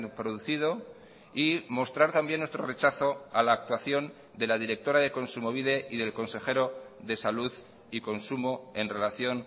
producido y mostrar también nuestro rechazo a la actuación de la directora de kontsumobide y del consejero de salud y consumo en relación